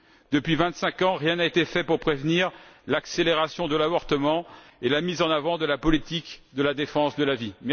Depuis vingt cinq ans, rien n'a été fait pour prévenir l'accélération de l'avortement et pour la mise en avant de la politique de la défense de la vie.